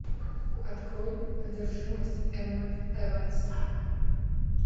открой одержимость эммы эванс